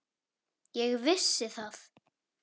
Ég vissi það.